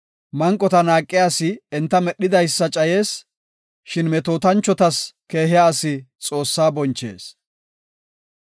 Manqota naaqiya asi enta medhidaysa cayees; shin metootanchotas keehiya asi Xoossaa bonchees.